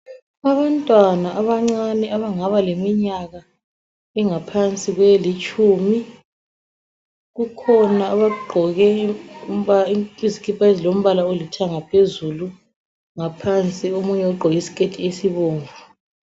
Abantwana abancane abangaba leminyaka engaphansi kwelitshumi, kukhona abagqoke izikipha ezilombala olithanga phezulu. Ngaphansi omunye ugqoke isiketi esibomvu.